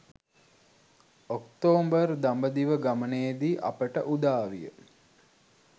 October Dambadiva ගමනේ දී අපට උදාවිය